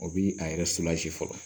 O bi a yɛrɛ fɔlɔ